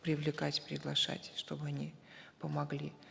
привлекать приглашать чтобы они помогли